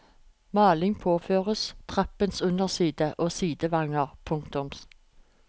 Malingen påføres trappens underside og sidevanger. punktum